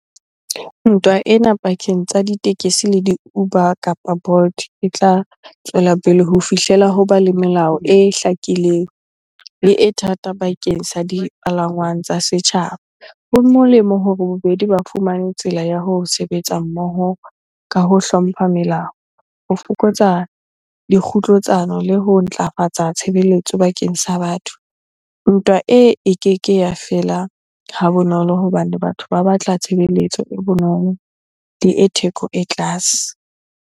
Ntwa ena pakeng tsa ditekesi le di-Uber kapa Bolt e tla tswela pele ho fihlela hoba le melao e hlakileng le e thata bakeng sa dipalangwang tsa setjhaba. Ho molemo hore bobedi ba fumane tsela ya ho sebetsa mmoho ka ho hlompha melao, ho fokotsa le ho ntlafatsa tshebeletso bakeng sa batho. Ntwa e, e keke ya fela ha bonolo hobane batho ba batla tshebeletso e bonolo le e theko e tlase.